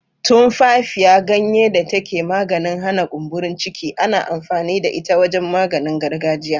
Tumfafiya, ganye da take da maganin hana kumburin ciki, ana amfani da ita wajen maganin gargajiya.